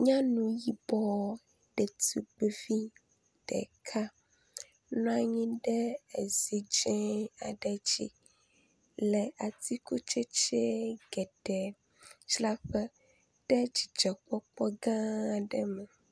Nyanu yibɔ ɖetugbivi ɖeka nɔ anyi ɖe ezi dze ae dzi le atikutsetse geɖe dzraƒe ɖe dzidzɔkpɔkpɔ gã aɖe me.